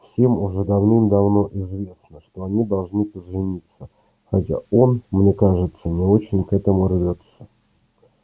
всем уже давным-давно известно что они должны пожениться хотя он мне кажется не очень к этому рвётся